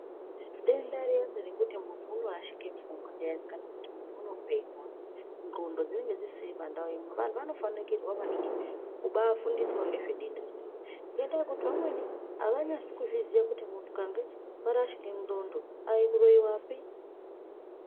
Denda riyani rekuti munhu unorashike pfungwa riyani kana kuti munhu unopenga nxlondo dzinonga dzisisiri pandau imwe vantu vanofanikirwa maningi kubaafundiswe ngezve denda rinoiri ngendayekuti vamweni avanyasi kuzviziye kuti kana muntu ukange warashike nxlondo aikuroiwapi.